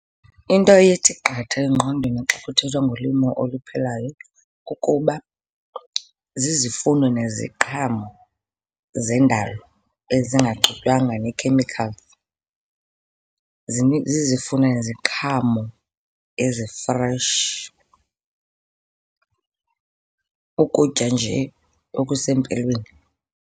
Into ethi qatha engqondweni xa kuthethwa ngolimo oluphilayo kukuba zizifuno neziqhamo zendalo ezingaxutywanga nee-chemicals. Zizifuno neziqhamo ezi-fresh, ukutya nje okusempilweni.